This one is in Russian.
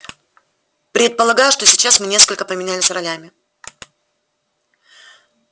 предполагаю что сейчас мы несколько поменялись ролями